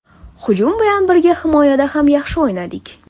Hujum bilan birga himoyada ham yaxshi o‘ynadik.